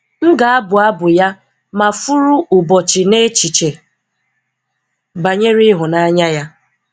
M ga-abụ abụ Ya ma furu ụbọchị n’echiche banyere ịhụnanya Ya.